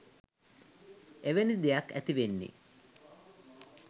එවැනි දෙයක් ඇතිවෙන්නේ?